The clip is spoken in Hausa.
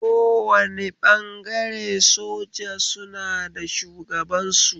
Kowane ɓangare soja suna da shugaban su